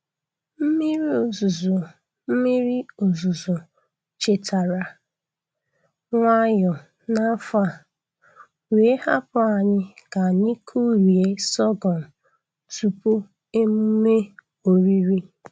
Mmiri ozuzo Mmiri ozuzo chetara nwayọọ n’afọ a, wee hapụ anyị ka anyị kụrie sọgọm tupu emume oriri.